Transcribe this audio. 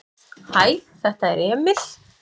"""Hæ, þetta er Emil."""